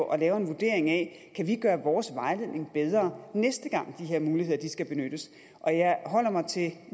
og laver en vurdering af om kan gøre vores vejledning bedre næste gang de her muligheder skal benyttes og jeg holder mig til